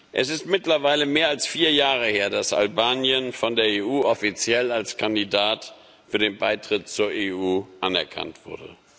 Es ist mittlerweile mehr als vier Jahre her, dass Albanien von der EU offiziell als Kandidat für den Beitritt zur EU anerkannt wurde.